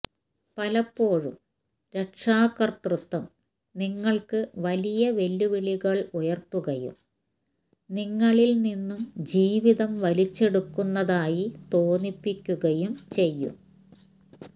പലപ്പോഴും രക്ഷാകതൃത്വം നിങ്ങള്ക്ക് വലിയ വെല്ലുവിളികള് ഉയര്ത്തുകയും നിങ്ങളില് നിന്നും ജീവിതം വലിച്ചെടുക്കുന്നതായി തോന്നിപ്പിക്കുകയും ചെയ്യും